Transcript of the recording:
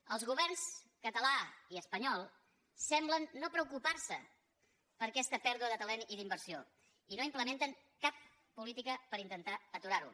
els governs català i espanyol semblen no preocupar se per aquesta pèrdua de talent i d’inversió i no implementen cap política per intentar aturar ho